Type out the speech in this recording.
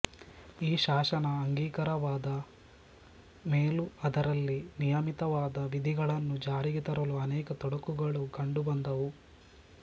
ಈ ಶಾಸನ ಅಂಗೀಕಾರವಾದ ಮೇಲೂ ಅದರಲ್ಲಿ ನಿಯಮಿತವಾದ ವಿಧಿಗಳನ್ನು ಜಾರಿಗೆ ತರಲು ಅನೇಕ ತೊಡಕುಗಳು ಕಂಡು ಬಂದುವು